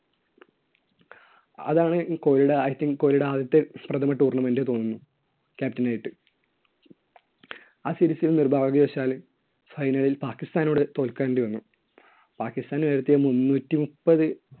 അതാണ് കോഹ്‌ലിയുടെ i think കോഹ്‌ലിയുടെ ആദ്യത്തെ പ്രഥമ tournament എന്നു തോന്നുന്നു. captain ആയിട്ട്. ആ series ൽ നിർഭാഗ്യവശാല് final ല്‍ പാക്കിസ്ഥാനോട് തോൽക്കേണ്ടി വന്നു. പാക്കിസ്ഥാൻ വരുത്തിയ മുന്നൂറ്റിമുപ്പത്